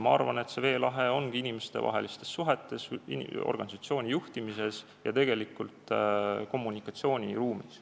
Ma arvan, et see veelahe ongi inimestevahelistes suhetes, organisatsiooni juhtimises ja tegelikult kommunikatsiooniruumis.